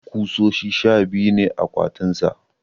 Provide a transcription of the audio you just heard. kusoshi sha biyu ne a akwatin sa